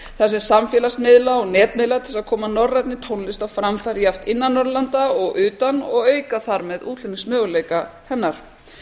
þar sem samfélagsmiðla og netmiðla til að koma norrænni tónlist á framfæri jafnt innan norðurlanda og utan og auka þar með útflutningsmöguleika hennar